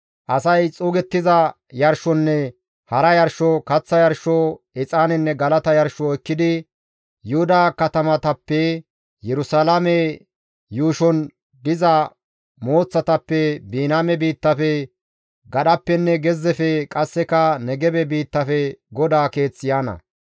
Asay xuugettiza yarshonne hara yarsho, kaththa yarsho, exaanenne galata yarsho ekkidi, Yuhuda katamatappe, Yerusalaame yuushon diza mooththatappe, Biniyaame biittafe, gadhappenne gezzefe qasseka Negebe biittafe GODAA Keeth yaana.